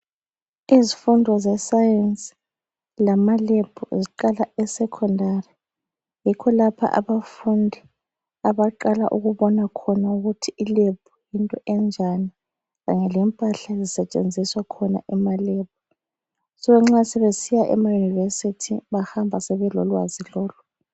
Izifundo zesayensi lamalebhu ziqala esekhondari. Yikho lapho abafundi abaqala ukubona khona ukuthi ilebhu yinto enjani kanye lempahla ezisetshenziswa khona emalebhu. So nxa sebesiya emayunivesithi bahamba sebelolwazi lolu.